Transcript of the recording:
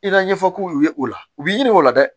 I ka ɲɛfɔ k'u ye o la u b'i ɲininka o la dɛ